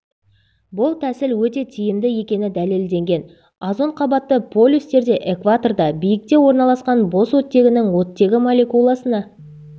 бұл тәсіл өте тиімді екені дәлелденген озон қабаты полюстерде экваторда биіктікте орналасқан бос оттегінің оттегі молекуласына